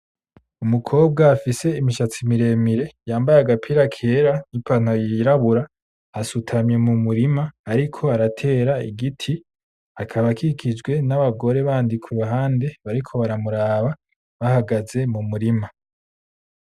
Umukobwa afise imishatsi miremire yambaye agapira kera n'ipantaro yirabura asutamye mu murima ariko aratera igiti akaba akikijwe n'abagore bandi kuruhande bariko baramuraba bahagaze mu murima.